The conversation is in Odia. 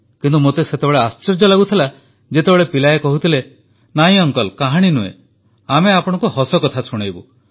କିନ୍ତୁ ମୋତେ ସେତେବେଳେ ଆଶ୍ଚର୍ଯ୍ୟ ଲାଗୁଥିଲା ଯେତେବେଳେ ପିଲାଏ କହୁଥିଲେ ନା ଅଙ୍କଲ୍ କାହାଣୀ ନୁହେଁ ଆମେ ଆପଣଙ୍କୁ ହସକଥା ଶୁଣେଇବୁ